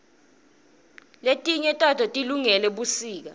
letinye tato tilungele busika